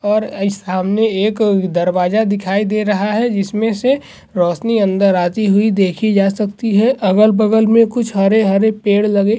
और यह सामने एक दरवाजा दिखाई दे रहा है जिसमे से रोशनी अंदर आती हुई देखि जा सकती है अगल-बगल मे कुछ हरे-हरे पेड़ लगे --